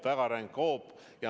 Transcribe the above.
Väga ränk hoop!